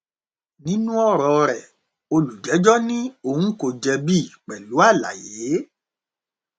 nínú ọrọ rẹ olùjẹjọ ní òun kò jẹbi pẹlú àlàyé